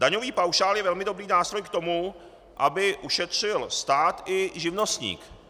Daňový paušál je velmi dobrý nástroj k tomu, aby ušetřil stát i živnostník.